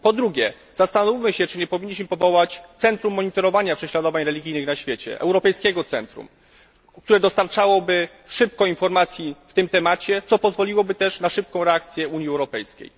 Po drugie, zastanówmy się, czy nie powinniśmy powołać centrum monitorowania prześladowań religijnych na świecie, europejskiego centrum, które dostarczałoby szybko informacji w tym temacie, co pozwoliłoby też na szybką reakcję Unii Europejskiej.